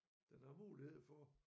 Den har mulighed for